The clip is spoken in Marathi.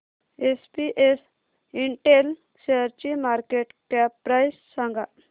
एसपीएस इंटेल शेअरची मार्केट कॅप प्राइस सांगा